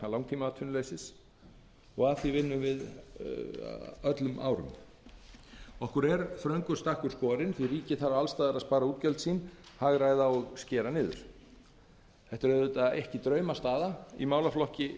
í félags og tryggingamálaráðuneytinu eins og ég gat um áðan okkur er þröngur stakkur skorinn því ríkið þarf alls staðar að spara útgjöld sín hagræða og skera niður þetta er vond staða í málaflokki þar